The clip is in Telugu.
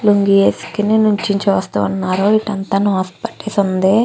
లుంగీ ఏసుకుని ఇక్కడ నించుని చూస్తూ ఉన్నారు ఇటు అంతా నాసు పట్టేసి ఉంది.